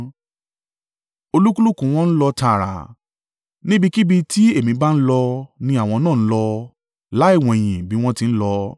Olúkúlùkù wọn ń lọ tààrà. Níbikíbi tí èmi bá ń lọ, ni àwọn náà ń lọ, láì wẹ̀yìn bí wọ́n ti ń lọ.